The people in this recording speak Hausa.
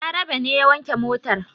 Balarabe ne ya wanke motar.